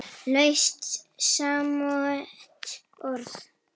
Laust samsett orð